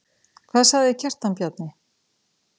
Hvað sagði Kjartan Bjarni?